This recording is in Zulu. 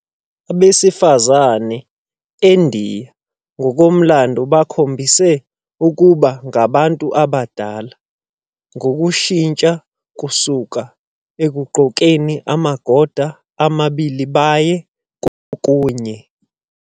Abesifazane eNdiya ngokomlando bakhombise ukuba ngabantu abadala ngokushintsha kusuka ekugqokeni amagoda amabili baye kokunye.